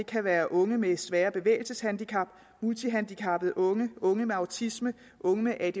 kan være unge med svære bevægelseshandicap multihandicappede unge unge med autisme unge med